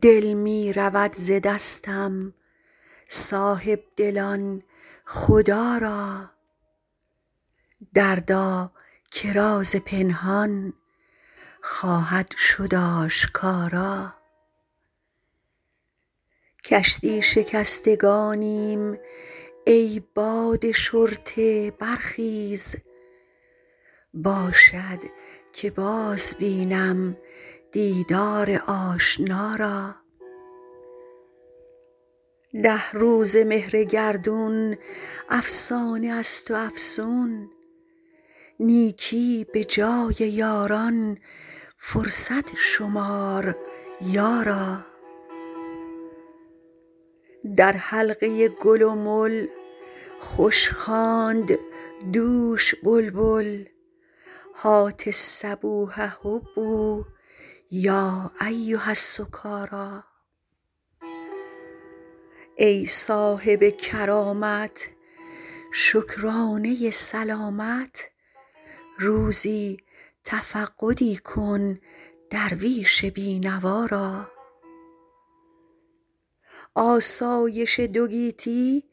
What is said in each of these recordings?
دل می رود ز دستم صاحب دلان خدا را دردا که راز پنهان خواهد شد آشکارا کشتی شکستگانیم ای باد شرطه برخیز باشد که باز بینم دیدار آشنا را ده روزه مهر گردون افسانه است و افسون نیکی به جای یاران فرصت شمار یارا در حلقه گل و مل خوش خواند دوش بلبل هات الصبوح هبوا یا ایها السکارا ای صاحب کرامت شکرانه سلامت روزی تفقدی کن درویش بی نوا را آسایش دو گیتی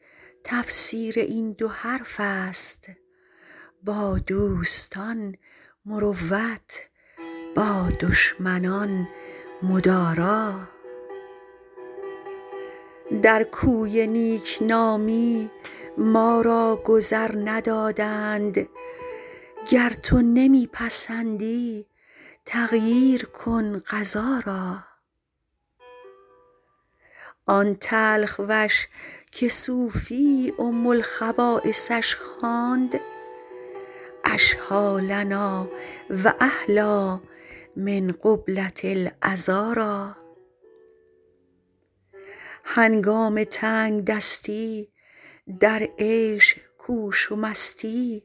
تفسیر این دو حرف است با دوستان مروت با دشمنان مدارا در کوی نیک نامی ما را گذر ندادند گر تو نمی پسندی تغییر کن قضا را آن تلخ وش که صوفی ام الخبایثش خواند اشهیٰ لنا و احلیٰ من قبلة العذارا هنگام تنگ دستی در عیش کوش و مستی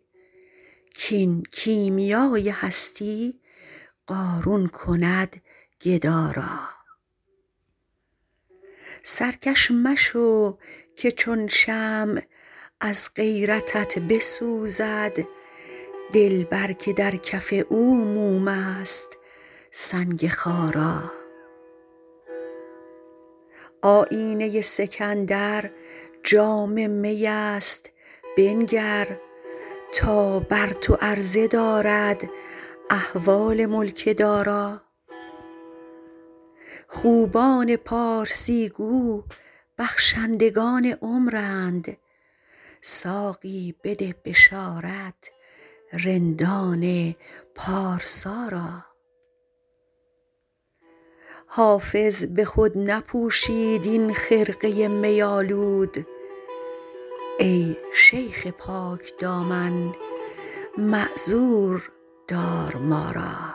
کاین کیمیای هستی قارون کند گدا را سرکش مشو که چون شمع از غیرتت بسوزد دلبر که در کف او موم است سنگ خارا آیینه سکندر جام می است بنگر تا بر تو عرضه دارد احوال ملک دارا خوبان پارسی گو بخشندگان عمرند ساقی بده بشارت رندان پارسا را حافظ به خود نپوشید این خرقه می آلود ای شیخ پاک دامن معذور دار ما را